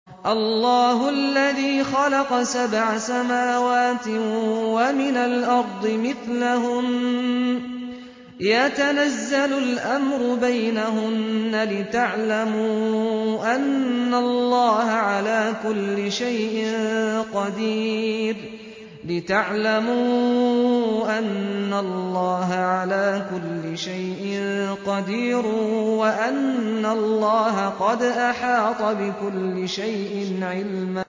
اللَّهُ الَّذِي خَلَقَ سَبْعَ سَمَاوَاتٍ وَمِنَ الْأَرْضِ مِثْلَهُنَّ يَتَنَزَّلُ الْأَمْرُ بَيْنَهُنَّ لِتَعْلَمُوا أَنَّ اللَّهَ عَلَىٰ كُلِّ شَيْءٍ قَدِيرٌ وَأَنَّ اللَّهَ قَدْ أَحَاطَ بِكُلِّ شَيْءٍ عِلْمًا